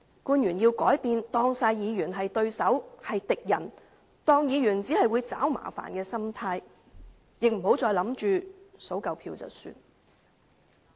官員要改變把所有議員當作是對手、是敵人、是只會找麻煩的心態，亦不要想着數夠票便算。